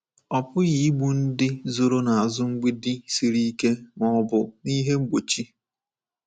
Ọ pụghị igbu ndị zoro n’azụ mgbidi siri ike ma ọ bụ n'ihe mgbochi.